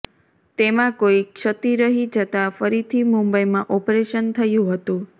તેમાં કોઈ ક્ષતિ રહી જતા ફરીથી મુંબઈમાં ઓપરેશન થયું હતું